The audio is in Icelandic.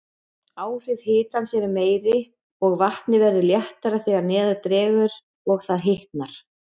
Áhrif hitans eru meiri, og vatnið verður léttara þegar neðar dregur og það hitnar.